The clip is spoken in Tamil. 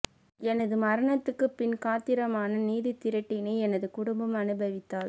எனது மரணத்துக்குப் பின் காத்திரமான நிதித் திரட்டினை எனது குடும்பம் அனுபவித்தல்